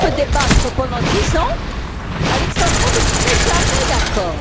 On peut débattre pendant dix ans, Alejandro, vous ne serez jamais d'accord.